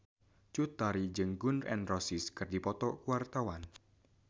Cut Tari jeung Gun N Roses keur dipoto ku wartawan